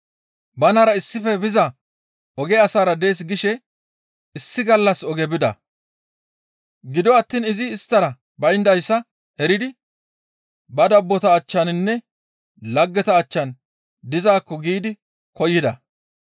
Banara issife biza oge asaara dees gishe issi gallassa oge bida. Gido attiin izi isttara bayndayssa eridi ba dabbota achchaninne laggeta achchan dizaakko giidi koyida.